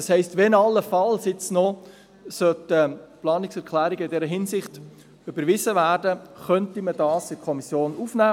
Das heisst: Wenn jetzt allenfalls noch Planungserklärungen in dieser Hinsicht überwiesen werden, könnte man diese in der Kommission aufnehmen.